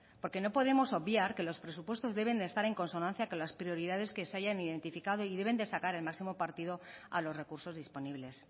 porque no podemos obviar que los presupuestos deben de estar en consonancia con las prioridades que se hayan identificado y deben de sacar el máximo partido a los recursos disponibles